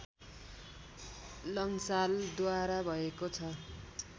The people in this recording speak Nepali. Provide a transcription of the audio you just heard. लंसालद्वारा भएको छ